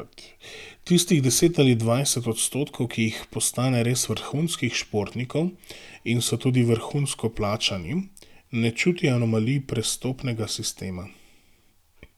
Tistih deset ali dvajset odstotkov, ki jih postane res vrhunskih športnikov in so tudi vrhunsko plačani, ne čuti anomalij prestopnega sistema.